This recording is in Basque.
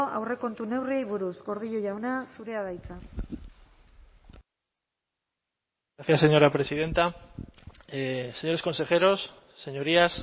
aurrekontu neurriei buruz gordillo jauna zurea da hitza gracias señora presidenta señores consejeros señorías